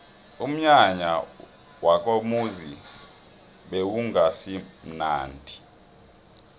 umnyanya wakomuzi bewungasimunandi